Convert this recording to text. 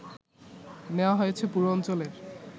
নেয়া হয়েছে পুরো অঞ্চলের